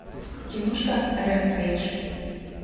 киношка рэмпейдж